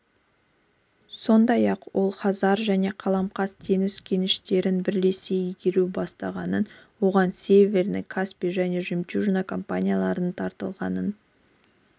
сондай-ақ ол хазар және қаламқас-теңіз кеніштерін бірлесе игеру басталғанын оған северный каспий және жемчужина компаниялары тартылғанын